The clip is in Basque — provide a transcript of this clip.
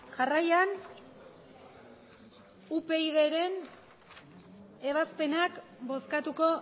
jarraian upydren ebazpenak bozkatuko